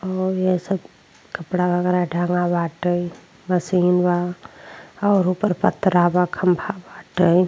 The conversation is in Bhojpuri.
और ये सब कपड़ा वगैरह टांगा बाटे। मशीन बा और ऊपर पटरा बा। खम्भा बाटे।